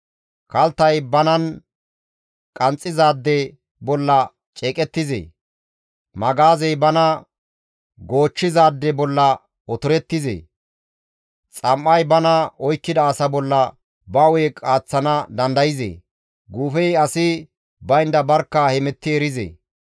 Kalttay banan qanxxizaade bolla ceeqettizee? Magaazey bana goochchizaade bolla otorettizee? Xam7ay bana oykkida asa bolla ba hu7e qaaththana dandayzee? guufey asi baynda barkka hemetti erizee?